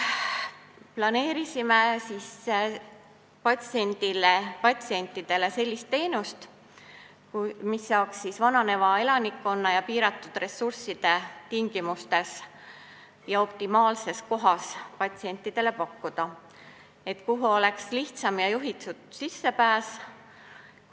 Planeerisime oma patsientidele sellist teenust, mida saaks pakkuda vananeva elanikkonna ja piiratud ressursside tingimustes ning optimaalses kohas, kuhu oleks lihtsam ja juhitud sissepääs.